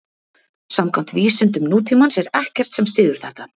Samkvæmt vísindum nútímans er ekkert sem styður þetta.